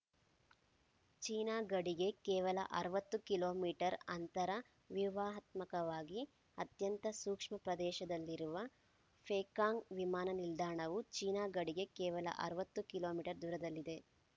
China ಗಡಿಗೆ ಕೇವಲ ಅರವತ್ತು ಕಿಲೋ ಮೀಟರ್ ಅಂತರ ವ್ಯೂಹಾತ್ಮಕವಾಗಿ ಅತ್ಯಂತ ಸೂಕ್ಷ್ಮ ಪ್ರದೇಶದಲ್ಲಿರುವ ಪೇಕಾಂಗ್‌ ವಿಮಾನ ನಿಲ್ದಾಣವು ಚೀನಾ ಗಡಿಗೆ ಕೇವಲ ಅರವತ್ತು ಕಿಲೋ ಮೀಟರ್ ದೂರದಲ್ಲಿದೆ